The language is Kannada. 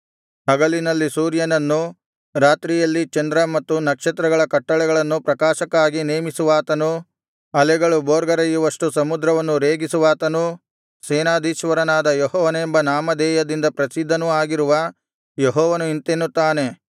ಹಗಲಿನಲ್ಲಿ ಸೂರ್ಯನನ್ನು ರಾತ್ರಿಯಲ್ಲಿ ಚಂದ್ರ ಮತ್ತು ನಕ್ಷತ್ರಗಳ ಕಟ್ಟಳೆಗಳನ್ನು ಪ್ರಕಾಶಕ್ಕಾಗಿ ನೇಮಿಸುವಾತನೂ ಅಲೆಗಳು ಭೋರ್ಗರೆಯುವಷ್ಟು ಸಮುದ್ರವನ್ನು ರೇಗಿಸುವಾತನೂ ಸೇನಾಧೀಶ್ವರನಾದ ಯೆಹೋವನೆಂಬ ನಾಮಧೇಯದಿಂದ ಪ್ರಸಿದ್ಧನೂ ಆಗಿರುವ ಯೆಹೋವನು ಇಂತೆನ್ನುತ್ತಾನೆ